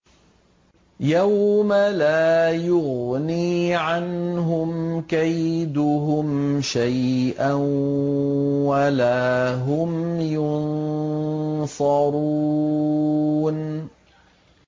يَوْمَ لَا يُغْنِي عَنْهُمْ كَيْدُهُمْ شَيْئًا وَلَا هُمْ يُنصَرُونَ